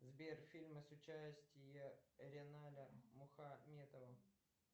сбер фильмы с участием риналя мухаметова